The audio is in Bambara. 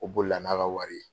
O boli la n'a ka wari ye.